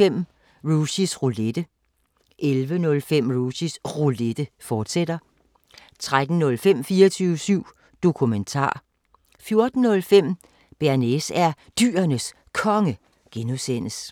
05:05: Mikrofonholder (G) 10:05: Rushys Roulette 11:05: Rushys Roulette, fortsat 13:05: 24syv Dokumentar 14:05: Bearnaise er Dyrenes Konge (G)